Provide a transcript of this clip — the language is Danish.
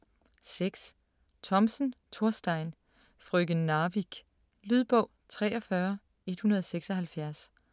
6. Thomsen, Thorstein: Frøken Narvik Lydbog 43176